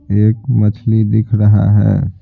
एक मछली दिख रहा है।